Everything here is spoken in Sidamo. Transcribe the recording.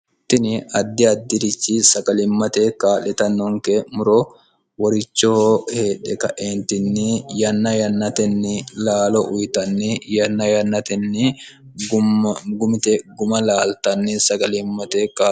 tini addi addi'richi saqalimmateekka letannonke muro worichoho heedhe kaeentinni yanna yannatenni laalo uyitanni yanna yannatenni gumite guma laaltanni saqalimmatekk